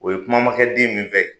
O ye kuma ma kɛ den min fɛ.